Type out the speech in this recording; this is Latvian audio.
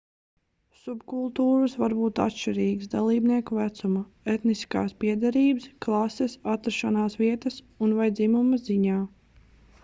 subkultūras var būt atšķirīgas dalībnieku vecuma etniskās piederības klases atrašanās vietas un/vai dzimuma ziņā